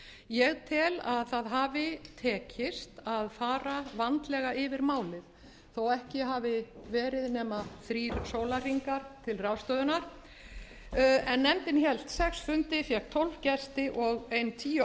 ég tel að það hafi tekist að fara vandlega yfir málið þó að ekki hafi verið nema þrír sólarhringar til ráðstöfunar en nefndin hélt sex fundi fékk tólf gesti og ein tíu